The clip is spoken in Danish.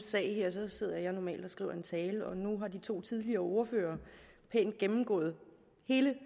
sag her sidder jeg normalt og skriver en tale og nu har de to tidligere ordførere pænt gennemgået hele